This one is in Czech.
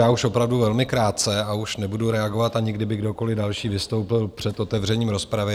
Já už opravdu velmi krátce a už nebudu reagovat, ani kdyby kdokoliv další vystoupil před otevřením rozpravy.